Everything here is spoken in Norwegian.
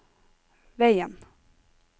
veien